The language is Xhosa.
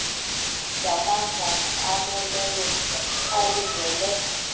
zamandla aneleyo alungele